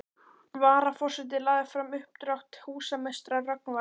Varaforseti lagði fram uppdrátt húsameistara Rögnvalds